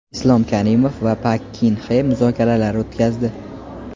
Islom Karimov va Pak Kin Xe muzokaralar o‘tkazdi.